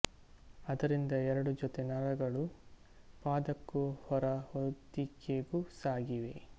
ಅದರಿಂದ ಎರಡು ಜೊತೆ ನರಗಳು ಪಾದಕ್ಕೂ ಹೊರ ಹೊದಿಕೆಗೂ ಸಾಗಿವೆ